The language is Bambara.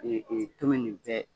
tomi nin bɛɛ